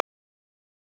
Æfið þið oft?